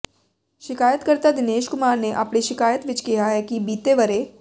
ਸਿ਼ਕਾਇਤਕਰਤਾ ਦਿਨੇਸ਼ ਕੁਮਾਰ ਨੇ ਆਪਣੀ ਸਿ਼ਕਾਇਤ ਵਿੱਚ ਕਿਹਾ ਹੈ ਕਿ ਬੀਤੇ ਵਰ੍ਹੇ